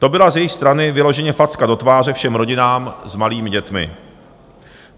To byla z jejich strany vyloženě facka do tváře všem rodinám s malými dětmi.